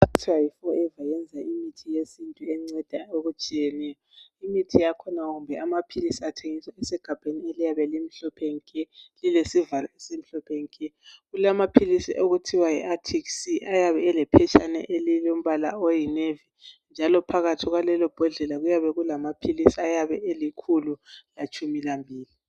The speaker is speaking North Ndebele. Forever iyenza Imithi yesintu enceda okutshiyeneyo imithi yakhona kumbe amaphilizi athengiswa esegabheni elimhlophe nke lilesivalo esimhlophe nke kulamaphilizi okuthiwa yi athisi ayabe elephetshane elombala oyinevi njalo phakathi kwalelobhodlela kuyabe kulamaphilizi ayabe elinkulu latshumi lambili